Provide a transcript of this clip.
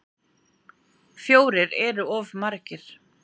Fjórir eru of margir.